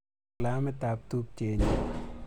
Kilamit ap tupchet nyu.